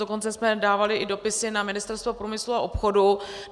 Dokonce jsme dávali i dopisy na Ministerstvo průmyslu a obchodu.